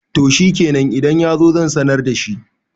to shikenan idan ya zo zan sanar da shi